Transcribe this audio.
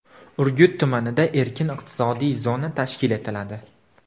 Urgut tumanida erkin iqtisodiy zona tashkil etiladi.